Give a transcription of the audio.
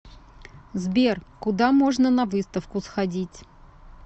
сбер куда можно на выставку сходить